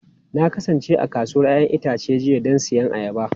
Na kasance a kasuwar 'ya'yan itace jiya don siyan ayaba.